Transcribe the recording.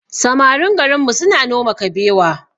Samarin garinmu suna noma kabewa